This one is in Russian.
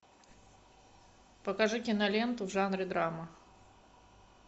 покажи киноленту в жанре драма